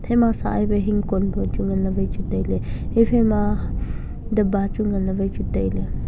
ema sah ai wai hingkon pe nganley wai chu tailey ephaima dapba wai chu nganley tailey.